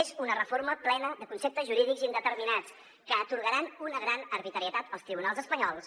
és una reforma plena de conceptes jurídics indeterminats que atorgaran una gran arbitrarietat als tribunals espanyols